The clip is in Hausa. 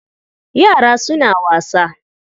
Yara suna wasa.